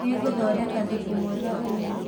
Nĩngũthondeka thubu mwega ũmũthĩ.